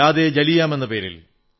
Yaad e Jallian എന്നപേരിൽ